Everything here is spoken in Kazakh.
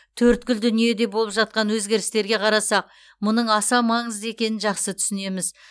төрткүл дүниеде болып жатқан өзгерістерге қарасақ мұның аса маңызды екенін жақсы түсінеміз